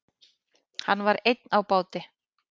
Hann var einn á báti.